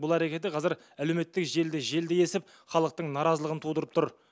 бұл әрекеті қазір әлеуметтік желіде желдей есіп халықтың наразылығын тудырып тұр